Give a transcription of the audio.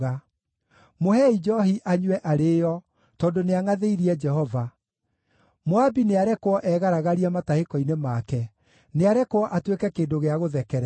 “Mũheei njoohi anyue arĩĩo, tondũ nĩangʼathĩirie Jehova. Moabi nĩarekwo egaragarie matahĩko-inĩ make; nĩarekwo atuĩke kĩndũ gĩa gũthekererwo.